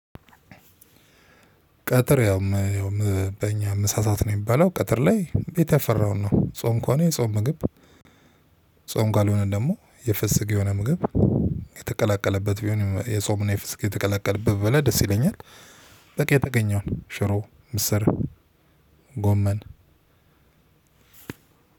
ቀትር ያውም በእኛ ምሳ ሳት ነው የሚባለው ቀትር ላይ ቤት ያፈራውን ነው ጾም እንኳን የጾም ምግብ። ጾም ካልሆነ ደግሞ የፈስግ የሆነ ምግብ የተቀላቀለበት ቢሆን የጾም የፍስግ የተቀላቀለበት ብበላ ደስ ይለኛል። የተገኘውን ሽሮ፤ ምስር፤ ጎመን